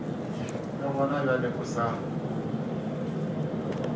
le gona bjale o sa